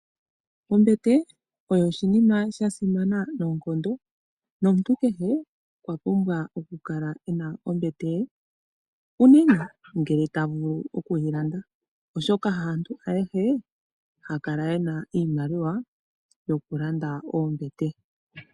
Ombete oyo oshinima sha simana noonkondo nomuntu kehe okwa pumbwa oku kala ena ombete ye. Uunene ngele ta vulu okuyi landa, oshoka haantu ayehe haya kala yena iimaliwa yoku landa oombete.